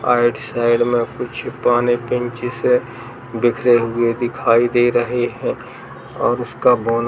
आइड side में कुछ पाने पेंचिस हैबिखरे हुए दिखाई दे रहे है और उसका बोनट --